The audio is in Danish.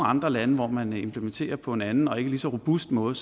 andre lande hvor man implementerer på en anden og ikke lige så robust måde